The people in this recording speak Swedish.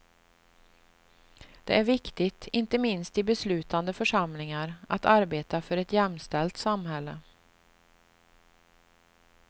Det är viktigt, inte minst i beslutande församlingar, att arbeta för ett jämställt samhälle.